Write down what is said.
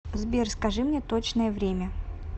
сбер скажи мне точное время